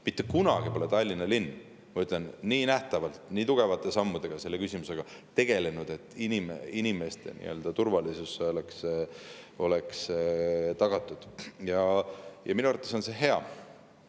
Mitte kunagi pole Tallinna linn, ma ütlen, nii nähtavalt, nii tugevate sammudega selle küsimusega tegelenud, et inimeste turvalisus oleks tagatud, ja minu arvates on see hea,.